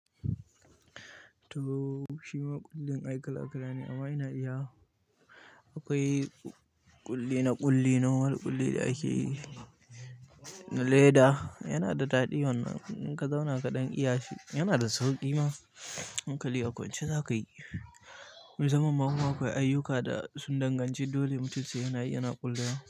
To shi ma ƙullin ai kala-akala ne amma ina iya wa. Akwai ƙulli na ƙulli nawa da ƙulli da ake yi na leda. Yana da daɗi wannan, ka zauna kaɗan iya shi. Yana da sauƙi ma hankali a ƙwance za ka yi. Musamman ma kuma a akwai ayyuka da sun danganci dole mutum sai yana yi yana ƙulla.